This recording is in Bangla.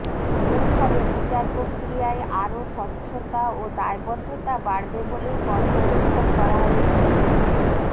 এর ফলে বিচারপ্রক্রিয়ায় আরও স্বচ্ছতা ও দায়বদ্ধতা বাড়বে বলেই পর্যবেক্ষণ করা হয়েছে শীর্ষ